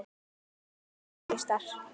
Halinn er miklu stærri.